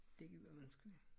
Det gider man sgu ikke